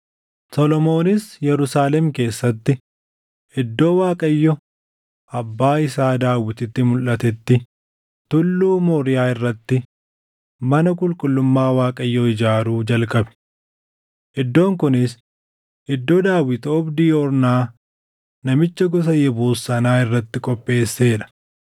Solomoonis Yerusaalem keessatti iddoo Waaqayyo abbaa isaa Daawititti mulʼatetti Tulluu Mooriyaa irratti mana qulqullummaa Waaqayyoo ijaaruu jalqabe. Iddoon kunis iddoo Daawit oobdii Ornaa namicha gosa Yebuus sanaa irratti qopheessee dha.